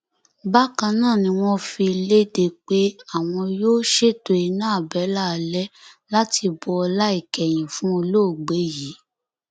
wọn yọ rt olhomme nípò alága ẹgbẹ onímọtò èkó bíi ẹni yọ jìgá